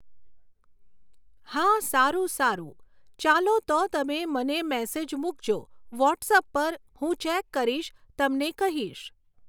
હા સારું સારું ચાલો તો તમે મને મેસેજ મૂકજો વોટ્સઅપ પર હું ચૅક કરીશ તમને કહીશ